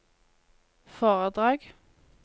foredrag